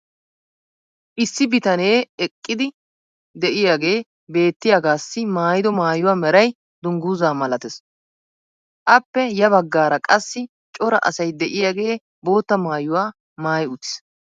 issi bitanee eqqidi diyaagee beetiyaagaassi maayido maayuwa meray danguzzaa malatees. appe ya bagaarakka qassi cora asay diyaagee bootta maayuwa maayi uttiis.